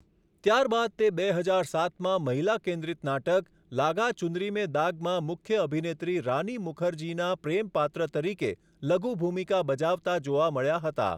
ત્યારબાદ તે બે હજાર સાતમાં મહિલા કેન્દ્રિત નાટક 'લાગા ચુનરી મેં દાગ'માં મુખ્ય અભિનેત્રી રાની મુખર્જીનીના પ્રેમ પાત્ર તરીકે લઘુ ભૂમિકા બજાવતા જોવા મળ્યા હતા.